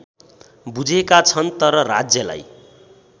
बुझेका छन् तर राज्यलाई